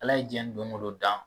Ala ye diɲɛ don ko don dan.